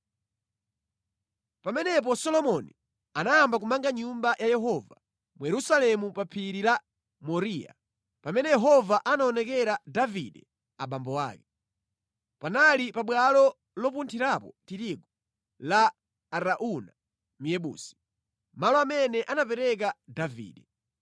Pamenepo Solomoni anayamba kumanga Nyumba ya Yehova mu Yerusalemu pa Phiri la Moriya, pamene Yehova anaonekera Davide abambo ake. Panali pabwalo lopunthirapo tirigu la Arauna Myebusi, malo amene anapereka Davide.